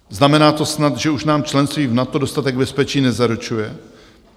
Znamená to snad, že už nám členství v NATO dostatek bezpečí nezaručuje?